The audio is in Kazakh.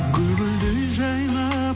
гүл гүлдей жайнап